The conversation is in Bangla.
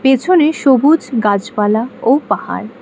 পেছনে সবুজ গাছপালা ও পাহাড়।